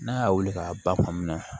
N'a y'a wuli k'a ba fan min na